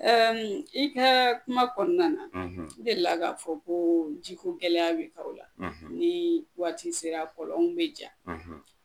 Ɛɛ i ka kuma kɔnɔna na , i delila ka fɔ ko jiko gɛlɛya bi kalo la , ni waati sera kɔlɔn bi ja